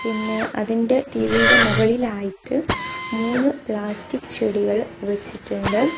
പിന്നെ അതിൻ്റെ ടി_വിയുടെ മുകളിൽ ആയിട്ട് മൂന്ന് പ്ലാസ്റ്റിക് ചെടികൾ വെച്ചിട്ടുണ്ട്.